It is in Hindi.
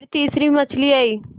फिर तीसरी मछली आई